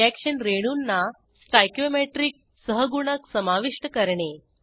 reaction रेणूंना stoichiometric सहगुणक समाविष्ट करणे